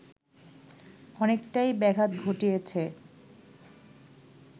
অনেকটাই ব্যাঘাত ঘটিয়েছে